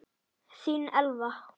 Þín, Elva.